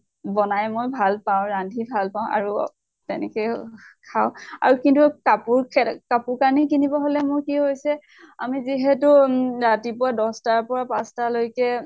বনাই মই ভাল পাওঁ। ৰান্ধি ভাল পাওঁ। আৰু তেনেকে খাওঁ। আৰু কিন্তু কাপোৰ খে কাপোৰ কানি কিনিব হলে মোৰ কি হৈছে। আমি যিহেতু উম ৰাতিপুৱা দশ্টাৰ পৰা পাঁছটা লৈকে